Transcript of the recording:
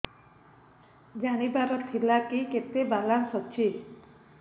ଜାଣିବାର ଥିଲା କି କେତେ ବାଲାନ୍ସ ଅଛି